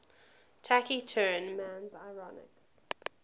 taciturn man's ironic